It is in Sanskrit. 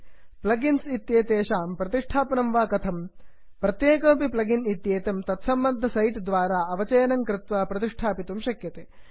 प्लग् इन्स् इत्येतेषां संस्थापनं वा कथम्160 प्रत्येकमपि प्लग् इन् इत्येतं तत्सम्बद्ध सैट् द्वारा अवचयनं कृत्वा संस्थापयितुं शक्यते